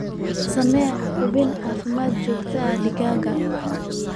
Samee hubin caafimaad oo joogto ah digaaggaaga.